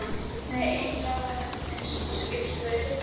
Nei, eiginlega var hann eins og skipstjóri.